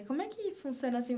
Como é que funciona assim?